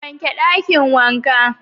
Wake Dakin wanka